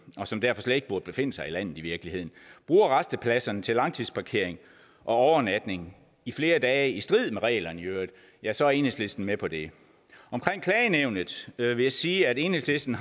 og som derfor slet ikke burde befinde sig i landet i virkeligheden bruger rastepladserne til langtidsparkering og overnatning i flere dage i strid med reglerne i øvrigt ja så er enhedslisten med på det omkring klagenævnet vil jeg sige at enhedslisten